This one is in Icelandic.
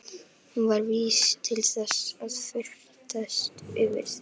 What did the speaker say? Hún var vís til þess að fyrtast yfir því.